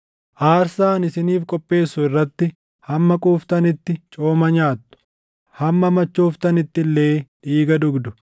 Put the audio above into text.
Aarsaa ani isiniif qopheessu irratti hamma quuftanitti cooma nyaattu; hamma machooftanitti illee dhiiga dhugdu.